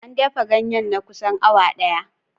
An dafa ganyen na kusan awa ɗaya.